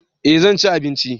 eh zanci abinci